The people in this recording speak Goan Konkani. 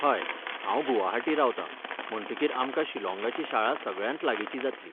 हय, हांव गुवाहाटी रावतां, म्हणटकीर आमकां शिलॉंगाची शाळा सगळ्यांत लागींची जातली.